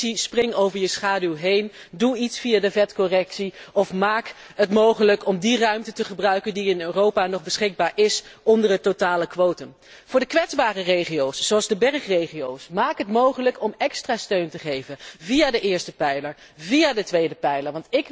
Commissie, spring over je schaduw heen en doe iets via de vetcorrectie, of maak het mogelijk om de ruimte te gebruiken die in Europa nog beschikbaar is onder het totale quotum. Ten tweede maak het voor de kwetsbare regio's, zoals de bergregio's, mogelijk om extra steun te geven via de eerste of de tweede pijler.